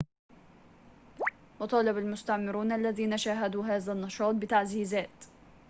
وطالب المستعمرون الذين شاهدوا هذا النشاط بتعزيزات